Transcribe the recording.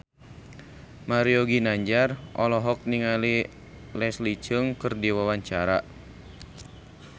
Mario Ginanjar olohok ningali Leslie Cheung keur diwawancara